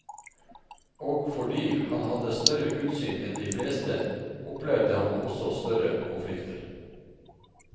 Og fordi han hadde større utsyn enn de fleste, opplevde han også større konflikter.